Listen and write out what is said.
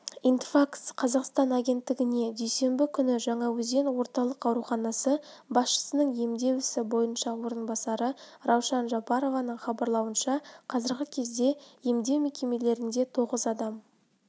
интерфакс-қазақстан агенттігіне дүйсенбі күні жаңаөзен орталық ауруханасы басшысының емдеу ісі бойынша орынбасары раушан жапарованың хабарлауынша қазіргі кезде емдеу мекемелерінде тоғыз адам